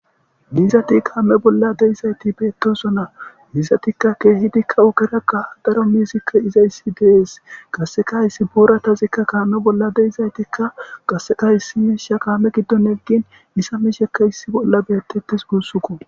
diizati kaame bolla deizayti beettosona izatikka keehidikka ogeraqa daro mishikka izayssi dees qasseka hayssi booratazikka kaame bolla deizaytikka qasseka hissimisha kaame giddon eggin nisamishekka issi bolla bettettes guussuko